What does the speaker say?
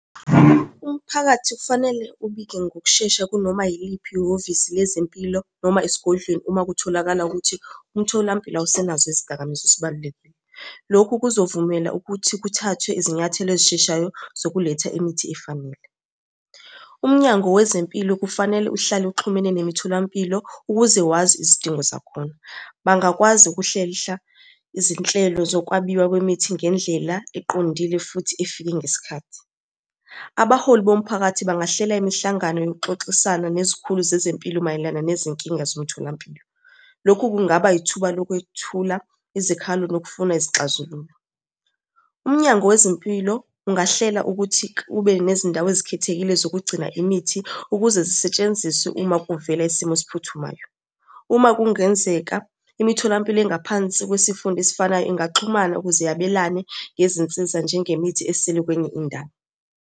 Umphakathi kufanele ubike ngokushesha kunoma yiliphi ihhovisi lezempilo noma esigodlweni uma kutholakala ukuthi umtholampilo awusenazo izidakamizwa esibalulekile. Lokhu kuzovumela ukuthi kuthathwe izinyathelo ezisheshayo zokuletha imithi efanele. UMnyango Wezempilo kufanele uhlale uxhumene nemitholampilo ukuze wazi izidingo zakhona. Bangakwazi ukuhlehla izinhlelo zokwabiwa kwemithi ngendlela eqondile, futhi efike ngesikhathi. Abaholi bomphakathi bangahlela imihlangano yokuxoxisana nezikhulu zezempilo mayelana nezinkinga zomtholampilo. Lokhu kungaba yithuba lokwethula izikhalo nokufuna izixazululo. UMnyango Wezempilo ungahlela ukuthi kube nezindawo ezikhethekile zokugcina imithi ukuze zisetshenziswe uma kuvela isimo esiphuthumayo. Uma kungenzeka imitholampilo engaphansi kwesifunda esifanayo ingaxhumana ukuze yabelane ngezinsiza njengemithi esele kwenye indawo.